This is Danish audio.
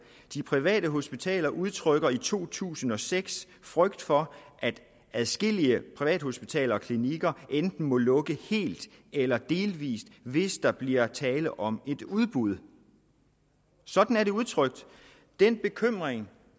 de private hospitaler udtrykker i to tusind og seks frygt for at adskillige privathospitaler og klinikker enten må lukke helt eller delvis hvis der bliver tale om et udbud sådan er det udtrykt den bekymring